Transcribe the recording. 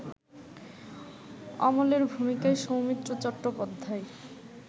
অমলের ভূমিকায় সৌমিত্র চট্টোপাধ্যায়